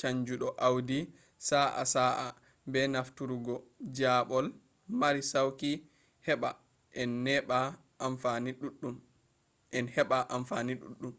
caanjuɗo awdi sa’a-sa'a be nafturungo jaaɓol mari sauki heɓɓa en heɓɓa amfani ɗuɗɗum